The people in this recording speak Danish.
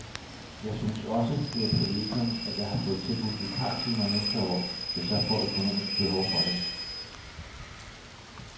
Jeg synes også, det er et privilegium, at jeg har fået tilbudt vikartimer næste år, hvis jeg får økonomisk behov for det.